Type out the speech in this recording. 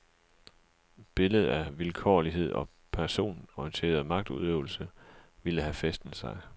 Billedet af vilkårlig og personorienteret magtudøvelse ville have fæstnet sig.